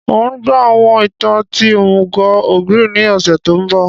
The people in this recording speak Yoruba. N o gbọ àwọn ìtàn ti òmùgò ogre ni ọ̀ṣẹ̀ to nbọ